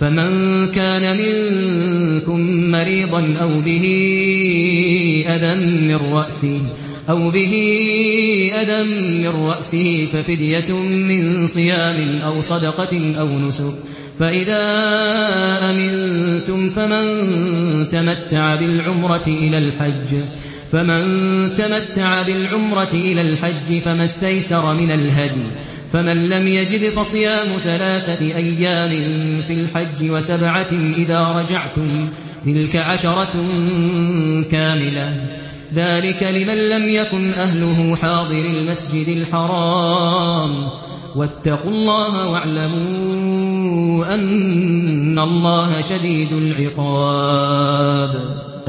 فَمَن كَانَ مِنكُم مَّرِيضًا أَوْ بِهِ أَذًى مِّن رَّأْسِهِ فَفِدْيَةٌ مِّن صِيَامٍ أَوْ صَدَقَةٍ أَوْ نُسُكٍ ۚ فَإِذَا أَمِنتُمْ فَمَن تَمَتَّعَ بِالْعُمْرَةِ إِلَى الْحَجِّ فَمَا اسْتَيْسَرَ مِنَ الْهَدْيِ ۚ فَمَن لَّمْ يَجِدْ فَصِيَامُ ثَلَاثَةِ أَيَّامٍ فِي الْحَجِّ وَسَبْعَةٍ إِذَا رَجَعْتُمْ ۗ تِلْكَ عَشَرَةٌ كَامِلَةٌ ۗ ذَٰلِكَ لِمَن لَّمْ يَكُنْ أَهْلُهُ حَاضِرِي الْمَسْجِدِ الْحَرَامِ ۚ وَاتَّقُوا اللَّهَ وَاعْلَمُوا أَنَّ اللَّهَ شَدِيدُ الْعِقَابِ